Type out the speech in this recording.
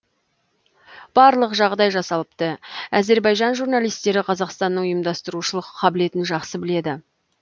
барлық жағдай жасалыпты әзербайжан журналистері қазақстанның ұйымдастырушылық қабілетін жақсы біледі